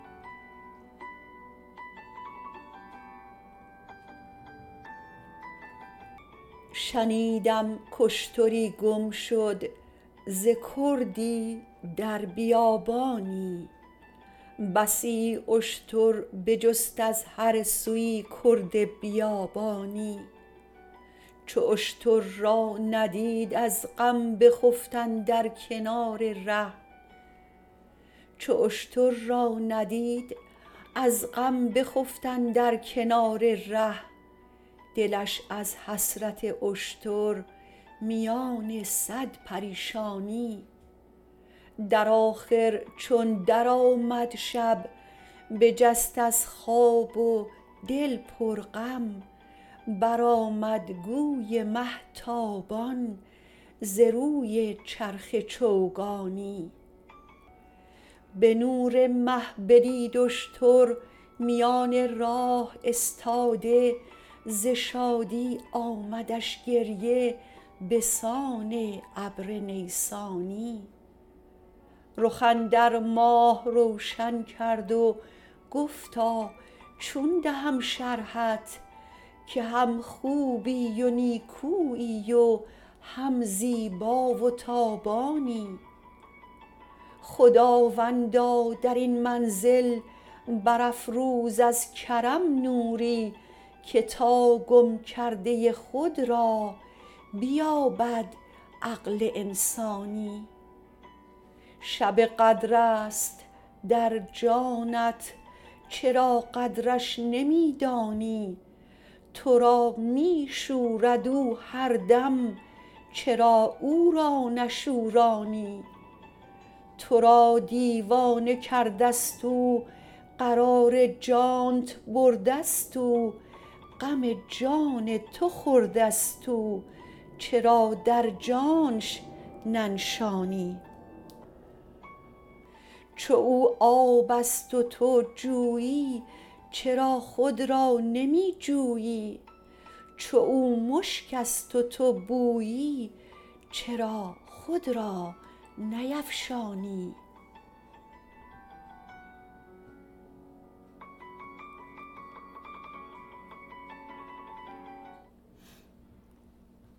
شنیدم کاشتری گم شد ز کردی در بیابانی بسی اشتر بجست از هر سوی کرد بیابانی چو اشتر را ندید از غم بخفت اندر کنار ره دلش از حسرت اشتر میان صد پریشانی در آخر چون درآمد شب بجست از خواب و دل پرغم برآمد گوی مه تابان ز روی چرخ چوگانی به نور مه بدید اشتر میان راه استاده ز شادی آمدش گریه به سان ابر نیسانی رخ اندر ماه روشن کرد و گفتا چون دهم شرحت که هم خوبی و نیکویی و هم زیبا و تابانی خداوندا در این منزل برافروز از کرم نوری که تا گم کرده خود را بیابد عقل انسانی شب قدر است در جانب چرا قدرش نمی دانی تو را می شورد او هر دم چرا او را نشورانی تو را دیوانه کرده ست او قرار جانت برده ست او غم جان تو خورده ست او چرا در جانش ننشانی چو او آب است و تو جویی چرا خود را نمی جویی چو او مشک است و تو بویی چرا خود را نیفشانی